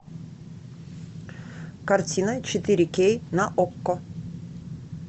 картина четыре кей на окко